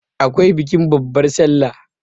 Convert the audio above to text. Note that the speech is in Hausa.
akwai bikin babbar sallah